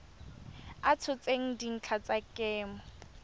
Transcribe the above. a tshotseng dintlha tsa kemo